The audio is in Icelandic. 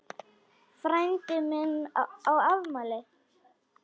Frændi minn á afmæli.